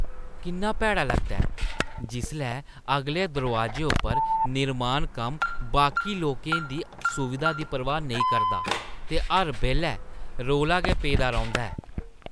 किन्ना भैड़ा लगदा ऐ जिसलै अगले दरोआजे उप्पर निर्माण कम्म बाकी लोकें दी सुवधा दी परवाह् नेईं करदा ते हर बेल्लै रौला गै पेदा रौंह्‌दा ऐ।